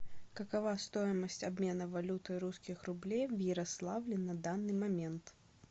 какова стоимость обмена валюты русских рублей в ярославле на данный момент